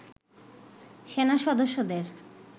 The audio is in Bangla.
সেনা সদস্যদের